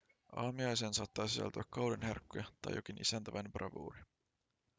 aamiaiseen saattaa sisältyä kauden herkkuja tai jokin isäntäväen bravuuri